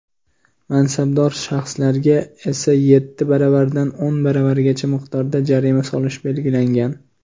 mansabdor shaxslarga esa — yetti baravaridan o‘n baravarigacha miqdorda jarima solish belgilangan.